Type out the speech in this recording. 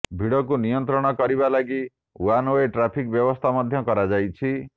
ଭିଡ଼କୁ ନିୟନ୍ତ୍ରଣ କରିବା ଲାଗି ଓ୍ୱାନ୍ ୱେ ଟ୍ରାଫିକ୍ ବ୍ୟବସ୍ଥା ମଧ୍ୟ କରାଯାଇଛି